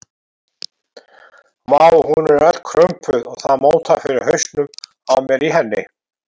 Vá, hún er öll krumpuð og það mótar fyrir hausnum á mér á henni.